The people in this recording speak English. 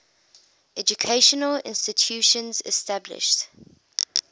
educational institutions established